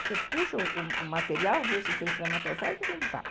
Você puxa o material, vê se tem espermatozoide e fim de papo.